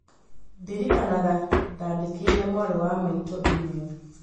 Ndirikanaga ndandĩkĩire mwarĩ wa maitũ e-mail.